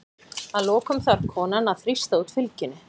Að lokum þarf konan að þrýsta út fylgjunni.